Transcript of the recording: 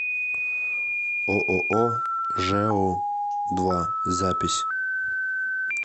ооо жэу два запись